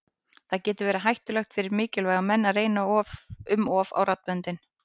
Það getur verið hættulegt fyrir mikilvæga menn að reyna um of á raddböndin.